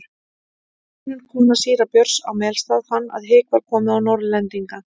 Steinunn kona síra Björns á Melstað fann að hik var komið á Norðlendinga.